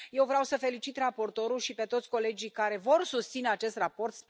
Eu vreau să felicit raportorul și pe toți colegii care vor susține acest raport.